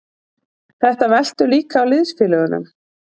Þetta veltur líka á liðsfélögunum.